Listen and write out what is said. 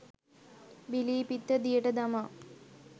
බිලී පිත්ත දියට දමා